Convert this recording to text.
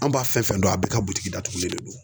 An b'a fɛn fɛn dɔn, a bɛɛ ka bitiki datugulen de don.